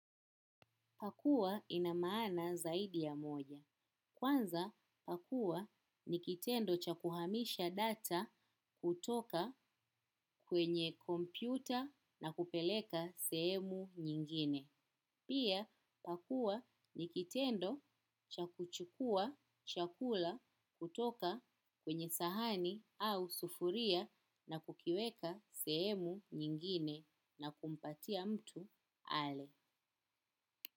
Pakua inamaana zaidi ya moja. Kwanza pakua ni kitendo cha kuhamisha data kutoka kwenye kompyuta na kupeleka sehemu nyingine. Pia pakua ni kitendo cha kuchukua chakula kutoka kwenye sahani au sufuria na kukiweka sehemu nyingine na kumpatia mtu ale.